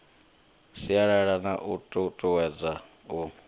sialala na u tutuwedza u